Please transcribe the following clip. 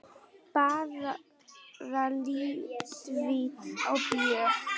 Bara léttvín og bjór.